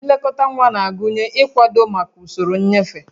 Nlekọta nwa na-agụnye ịkwado maka usoro nnyefe